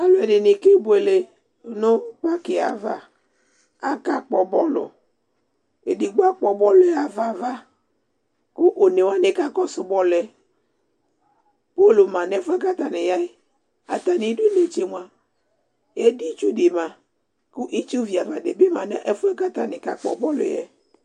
Ɔlu ɛdini kebuele nu paki yɛ ava Akakpɔ bɔlu Edigbo akpɔ bɔlu ɣa fa ava Ku onewani kakɔsu bɔlu yɛ Golu ma nu ɛfu yɛ ku atani ya Atani idu netse mua editsu di ma ku itsu viava di bi ma nu ɛfu yɛ ku ata ni kakpɔ bɔlu yɛ